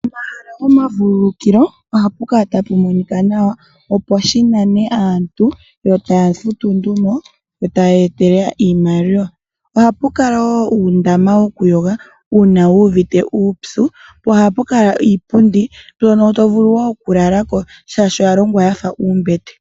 Pomahala gomavululukilo oha pu kala tapu monika nawa, opo shinane aantu yo taya futu nduno yo taya etelele iimaliwa. Oha pu kala woo uundama wokuyoga uuna wu uvite uupyu po oha pu kala iipundi mbyono to vulu woo okulala ko shaashi oya longwa yafa uumbete.